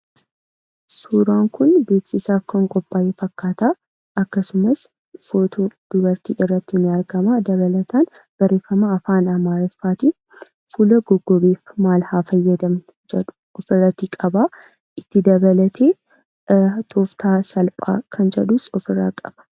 Suuraan kun beeksisaaf kan qoopha'ee faakkata. Akksumas footoon dubarti irratti ni argamaa. Dabalataan barrefama afaan amarifattin "Fuula goggogeef maal haa fayyadamnu" jedhuu of irratti qaba. Itti dabalatee "toftaaa salpgaa kan jedhuus" of irra qaba.